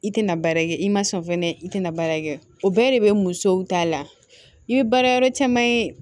I tɛna baarakɛ i ma sɔn fɛnɛ i tɛna baara kɛ o bɛɛ de bɛ musow ta la i bɛ baara yɔrɔ caman ye